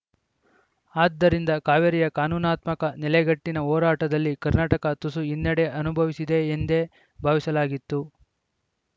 ಆದ್ದರಿಂದ ಕಾವೇರಿಯ ಕಾನೂನಾತ್ಮಕ ನೆಲೆಗಟ್ಟಿನ ಹೋರಾಟದಲ್ಲಿ ಕರ್ನಾಟಕ ತುಸು ಹಿನ್ನಡೆ ಅನುಭವಿಸಿದೆ ಎಂದೇ ಭಾವಿಸಲಾಗಿತ್ತು